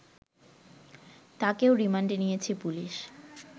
তাকেও রিমান্ডে নিয়েছে পুলিশ